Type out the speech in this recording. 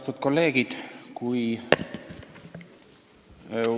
Austatud kolleegid!